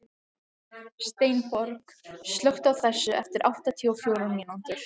Steinborg, slökktu á þessu eftir áttatíu og fjórar mínútur.